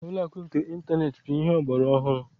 Ụlọakụ nke ịntaneetị bụ ihe ọgbaraọhụrụ